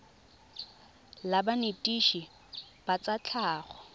la banetetshi ba tsa tlhago